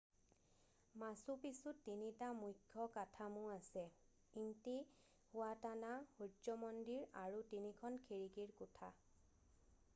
মাচু পিচুত তিনিটা মুখ্য কাঠামো আছে ইণ্টিহুৱাটানা সূৰ্য মন্দিৰ আৰু তিনিখন খিৰিকিৰ কোঠা